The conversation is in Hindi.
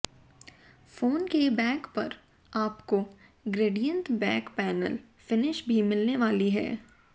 फोन के बैक पर आपको ग्रेडिएंट बेक पैनल फिनिश भी मिलने वाली है